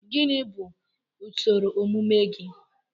Gịnị bụ usoro ọmụmụ gị?